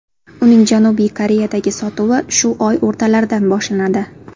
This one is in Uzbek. Uning Janubiy Koreyadagi sotuvi shu oy o‘rtalaridan boshlanadi.